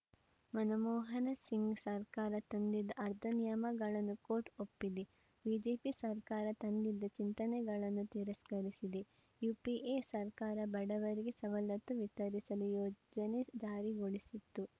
ಮನಮೋಹನ ಸಿಂಗ್‌ ಸರ್ಕಾರ ತಂದಿದ್ದ ಆಧಾರ್‌ ನಿಯಮಗಳನ್ನು ಕೋರ್ಟ್‌ ಒಪ್ಪಿದೆ ಬಿಜೆಪಿ ಸರ್ಕಾರ ತಂದಿದ್ದ ಚಿಂತನೆಗಳನ್ನು ತಿರಸ್ಕರಿಸಿದೆ ಯುಪಿಎ ಸರ್ಕಾರ ಬಡವರಿಗೆ ಸವಲತ್ತು ವಿತರಿಸಲು ಯೋಜನೆ ಜಾರಿಗೊಳಿಸಿತ್ತು